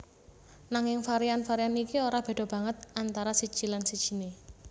Nanging varian varian iki ora béda banget antara siji lan sijiné